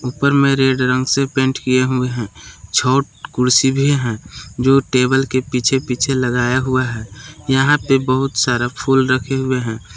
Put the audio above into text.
पर मे रेड रंग से पेंट हुए हैं छोट कुर्सी भी हैं जो टेबल के पीछे पीछे लगाया हूं यहां पे बहुत सारा फूल रखे हुए हैं।